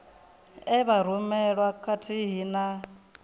e vha rumelwa khathihi na